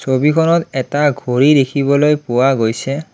ছবিখনত এটা ঘড়ী দেখিবলৈ পোৱা গৈছে।